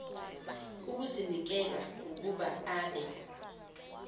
ukuzinikela ukuba abe